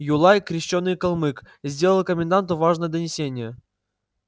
юлай крещёный калмык сделал коменданту важное донесение